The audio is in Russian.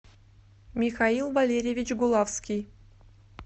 михаил валерьевич гулавский